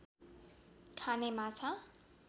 खाने माछा